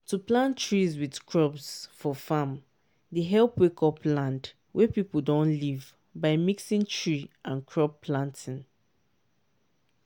to plant trees with crops for farm dey help wake up land wey people don leave by mixing tree and crop planting.